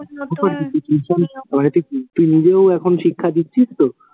তুই নিজেও এখন শিক্ষা দিচ্ছিস তো?